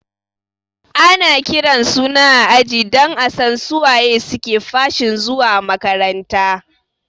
Ana kiran suna a aji don asan su waye suke fashin zuwa makaranta